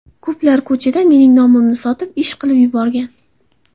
Ko‘plar ko‘chada mening nomimni sotib, ish qilib yuborgan.